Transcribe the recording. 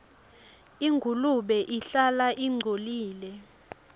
ingulube ihlala ingcolile